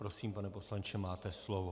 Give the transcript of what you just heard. Prosím, pane poslanče, máte slovo.